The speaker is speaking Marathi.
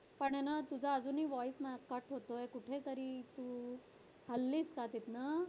पण हे ना तुझा अजूनही voice ना cut होतोय कुठेतरी तू हललीस का तिथंन